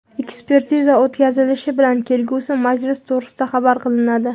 Ekspertiza o‘tkazilishi bilan kelgusi majlis to‘g‘risida xabar qilinadi.